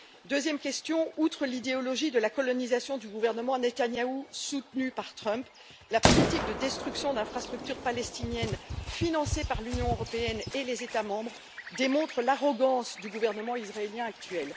Deuxième question outre l'idéologie de la colonisation du gouvernement Netanyahou, soutenue par M. Trump, la politique de destruction d'infrastructures palestiniennes financées par l'Union européenne et les États membres démontre l'arrogance du gouvernement israélien actuel.